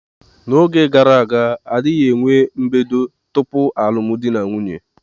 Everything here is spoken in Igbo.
N'oge gara aga, a dịghị eme mbedo tupu alụmdi na nwunye.